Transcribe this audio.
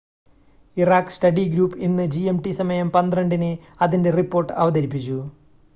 Iraq study group ഇന്ന് gmt സമയം 12.00-ന് അതിൻ്റെ റിപ്പോർട്ട് അവതരിപ്പിച്ചു